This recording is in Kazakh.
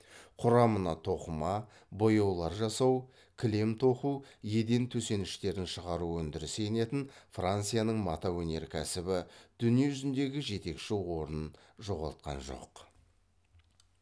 құрамына тоқыма бояулар жасау кілем тоқу еден төсеніштерін шығару өндірісі енетін францияның мата өнеркәсібі дүние жүзіндегі жетекші орнын жоғалтқан жоқ